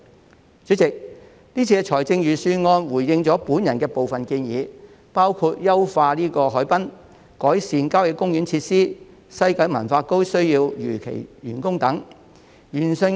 代理主席，這份預算案回應了我的部分建議，包括優化海濱、改善郊野公園設施、西九文化區如期完工等。